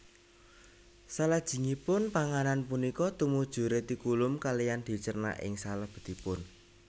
Salajengipun panganan punika tumuju retikulum kaliyan dicerna ing selebetipun